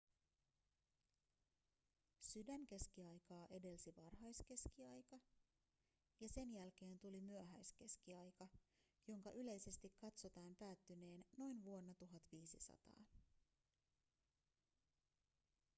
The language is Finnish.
sydänkeskiaikaa edelsi varhaiskeskiaika ja sen jälkeen tuli myöhäiskeskiaika jonka yleisesti katsotaan päättyneen noin vuonna 1500